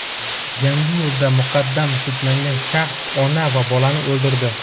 Yangiyo‘lda muqaddam sudlangan shaxs ona va bolani o‘ldirdi.